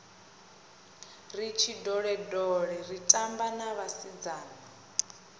ri tshindolendole tshitamba na vhasidzana